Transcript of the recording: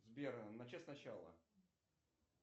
сбер начать сначала